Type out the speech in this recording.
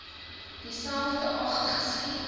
dieselfde dag geskiet